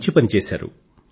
మంచి పని చేసారు